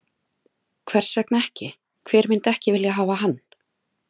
Hvers vegna ekki, hver myndi ekki vilja hafa hann?